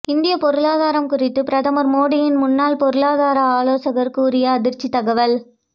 இந்திய பொருளாதாரம் குறித்து பிரதமர் மோடியின் முன்னாள் பொருளாதார ஆலோசகர் கூறிய அதிர்ச்சி தகவல்